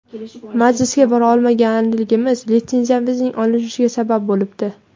Majlisga bora olmaganligimiz litsenziyamizning olinishiga sabab bo‘libdi.